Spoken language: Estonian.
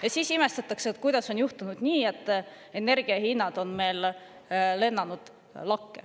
Ja siis imestatakse, kuidas on juhtunud nii, et energia hinnad on meil lakke lennanud.